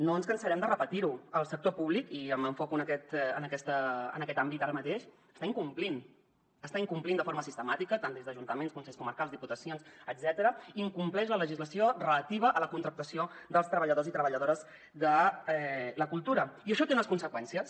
no ens cansarem de repetir ho el sector públic i m’enfoco en aquest àmbit ara mateix està incomplint de forma sistemàtica tant des d’ajuntaments consells comarcals diputacions etcètera incompleix la legislació relativa a la contractació dels treballadors i treballadores de la cultura i això té unes conseqüències